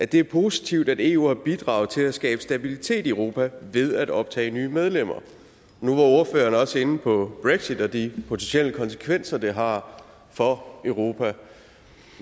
det er positivt at eu har bidraget til at skabe stabilitet i europa ved at optage nye medlemmer nu var ordføreren også inde på brexit og de potentielle konsekvenser det har for europa